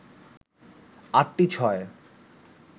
আটটি ছয়